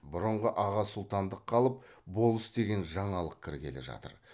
бұрынғы аға сұлтандық қалып болыс деген жаңалық кіргелі жатыр